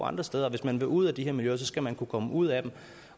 andre steder hvis man vil ud af de her miljøer skal man kunne komme ud af dem